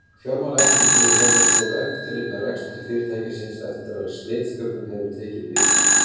Fjármálaeftirlitið hefur svo eftirlit með rekstri fyrirtækisins eftir að slitastjórnin hefur tekið við.